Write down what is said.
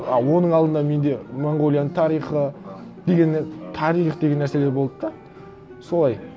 а оның алдында менде монғолияның тарихы дегенмен тарих деген нәрселер болды да солай